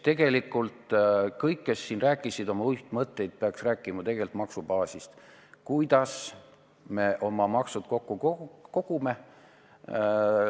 Tegelikult kõik, kes siin rääkisid oma uitmõtetest, pidanuks rääkima maksubaasist, kuidas me oma maksud kokku kogume.